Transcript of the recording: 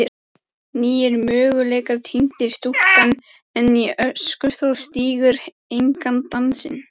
nýir möguleikar týndir stúlkan enn í öskustó stígur engan dansinn